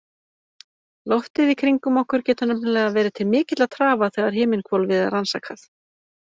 Loftið í kringum okkur getur nefnilega verið til mikilla trafala þegar himinhvolfið er rannsakað.